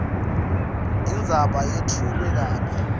indzaba yetfulwe kabi